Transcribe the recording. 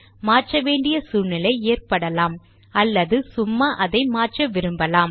மாற்ற வேண்டிய சூழ்நிலை ஏற்படலாம் அல்லது சும்மா அதை மாற்ற விரும்பலாம்